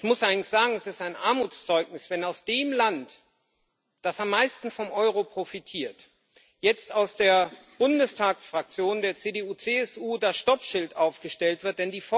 Ich muss allerdings sagen Es ist ein Armutszeugnis, wenn aus dem Land, das am meisten vom Euro profitiert, jetzt aus der Bundestagsfraktion der CDU CSU das Stoppschild aufgestellt wird.